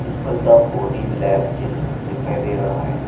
जिसपर the body lab gym दिखाई दे रहा है।